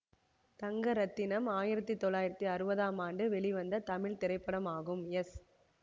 தங்கரத்தினம் ஆயிரத்தி தொள்ளாயிரத்தி அறுபதாம் ஆண்டு வெளிவந்த தமிழ் திரைப்படமாகும் எஸ்